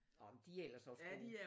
Åh men de er ellers også gode